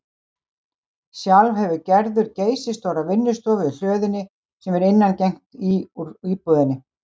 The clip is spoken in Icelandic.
Sjálf hefur Gerður geysistóra vinnustofu í hlöðunni, sem er innangengt í úr íbúðinni.